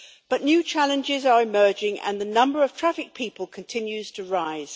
But new challenges are emerging, and the number of trafficked people continues to rise.